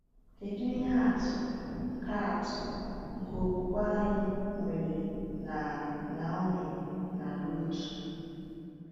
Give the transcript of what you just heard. Kedu ihe atụ nke atụ nke okwukwe anyị nwere na Naomi na Ruth?